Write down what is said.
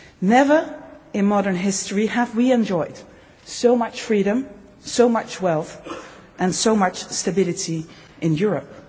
Never in modern history have we enjoyed so much freedom, so much wealth and so much stability in Europe.